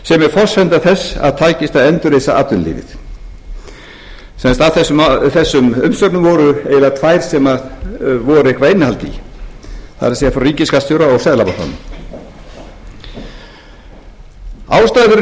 forsenda þess að takist að endurreisa atvinnulífið af þessum umsögnum voru eiginlega tvær sem var eitthvert innihald í það er frá ríkisskattstjóra og seðlabankanum ástæður fyrir